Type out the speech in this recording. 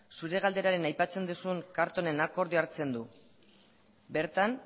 zure galderan aipatzen duzun carltonen akordioa hartzen du bertan